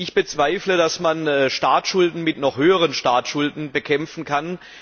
Ich bezweifle, dass man Staatsschulden mit noch höheren Staatsschulden bekämpfen kann.